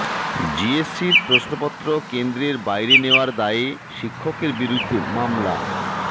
জেএসসির প্রশ্নপত্র কেন্দ্রের বাইরে নেওয়ার দায়ে শিক্ষকের বিরুদ্ধে মামলা